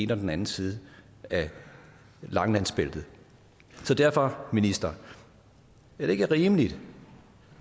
den anden side af langelandsbæltet så derfor minister er det ikke rimeligt